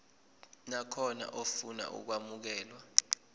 nakhona ofuna ukwamukelwa